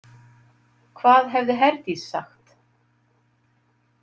Hvað hefði Herdís sagt?